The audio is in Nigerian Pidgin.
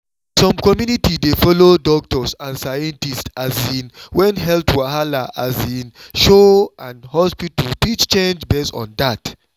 some community dey follow doctors and scientists um when health wahala um show and hospital fit change based on that.